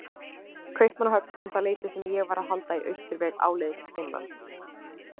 Kaupmannahöfn um það leyti sem ég var að halda í austurveg áleiðis til Finnlands.